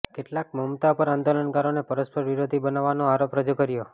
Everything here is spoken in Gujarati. કેટલાકે મમતા પર આંદોલનકારોને પરસ્પર વિરોધી બનાવવાનો આરોપ રજૂ કર્યો